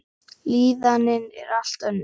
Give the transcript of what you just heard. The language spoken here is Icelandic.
Líðanin er allt önnur.